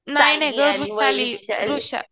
नाही नाही गं वृषा